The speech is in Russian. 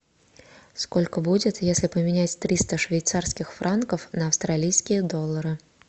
сколько будет если поменять триста швейцарских франков на австралийские доллары